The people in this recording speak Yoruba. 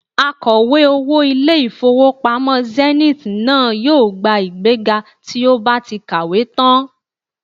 Akọ̀wé owó ilé-ìfowópamọ́ Zenith náà yóò gba ìgbéga tí ó bá ti kàwé tán